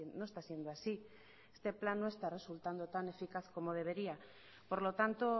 no está siendo así este plan no está resultando tan eficaz como debería por lo tanto